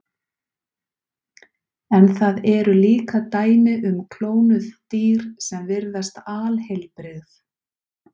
En það eru líka dæmi um klónuð dýr sem virðast alheilbrigð.